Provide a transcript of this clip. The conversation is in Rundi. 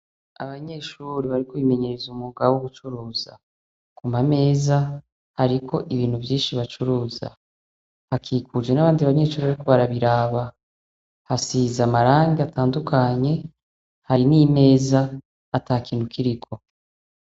Abanyeshure bariko bimenyereza umwuga wogucuruza amameza ariko ibintu vyinshi bacuruza akikuje nabandi banyeshure bariko barabiraba hasize amarangi atandukanye hari nimeza atakintu kiriko